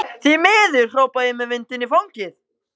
Því miður, hrópa ég með vindinn í fangið.